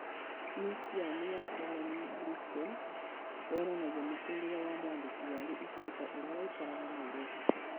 Museum ya Karen Blixen, yonanagia mũtũũrĩre wa mwandĩki warĩ igweta ũrĩa waikaraga Nairobi.